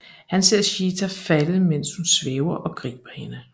Han ser Sheeta falde mens hun svæver og griber hende